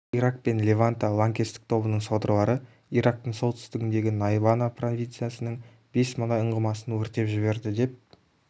ирак пен леванта лаңкестік тобының содырлары ирактың солтүстігіндегі найнава провинциясының бес мұнай ұңғымасын өртеп жіберді деп